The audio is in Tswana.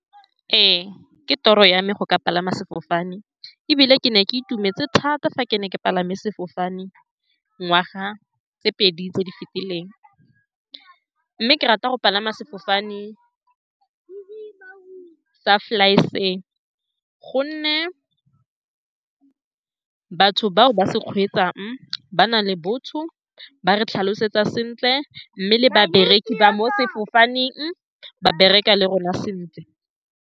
Ee, ke toro ya me go ka palama sefofane, ebile ke ne ke itumetse thata fa ke ne ke palame sefofane ngwaga tse pedi tse di fetileng, mme ke rata go palama sefofane sa Fly Fair, ka gonne batho bao ba se kgweetsang ba na le botho, ba re tlhalosetsa sentle, mme le babereki ba mo sefofaneng ba bereka le rona sentle.